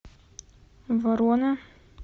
ворона